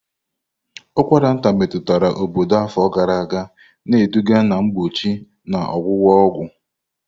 Ụkwara nta metụtara obodo afọ gara aga, na-eduga na mgbochi na ọgwụgwọ ọgwụ.